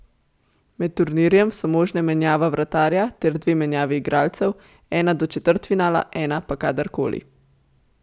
Med turnirjem so možne menjava vratarja ter dve menjavi igralcev, ena do četrtfinala, ena pa kadar koli.